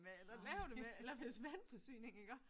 Med eller lave det med eller hvis vandforsyningen iggå